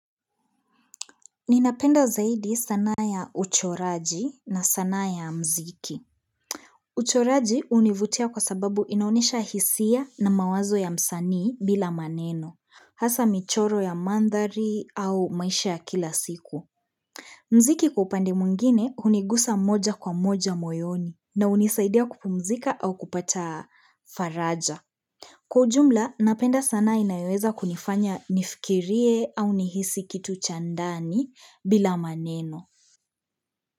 Ninapenda zaidi sanaa ya uchoraji na sanaa ya mziki. Uchoraji hunivutia kwa sababu inaonyesha hisia na mawazo ya msanii bila maneno. Hasa michoro ya mandhari au maisha ya kila siku. Mziki kwa upandi mwingine hunigusa moja kwa moja moyoni na hunisaidia kupumzika au kupata faraja. Kwa ujumla, napenda sanaa inayoweza kunifanya nifikirie au nihisi kitu cha ndani bila maneno.